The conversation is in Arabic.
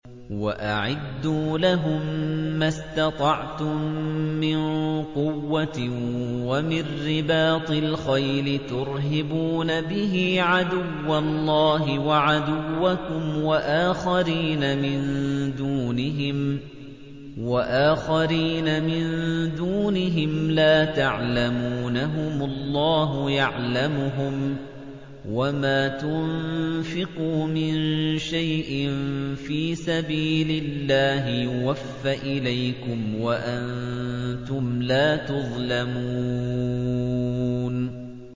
وَأَعِدُّوا لَهُم مَّا اسْتَطَعْتُم مِّن قُوَّةٍ وَمِن رِّبَاطِ الْخَيْلِ تُرْهِبُونَ بِهِ عَدُوَّ اللَّهِ وَعَدُوَّكُمْ وَآخَرِينَ مِن دُونِهِمْ لَا تَعْلَمُونَهُمُ اللَّهُ يَعْلَمُهُمْ ۚ وَمَا تُنفِقُوا مِن شَيْءٍ فِي سَبِيلِ اللَّهِ يُوَفَّ إِلَيْكُمْ وَأَنتُمْ لَا تُظْلَمُونَ